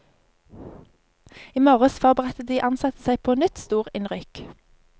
I morges forberedte de ansatte seg på nytt storinnrykk.